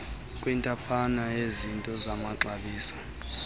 kwintaphane yezinto zamaxabiso